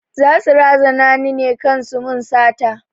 Za su razana ni kan su mun sata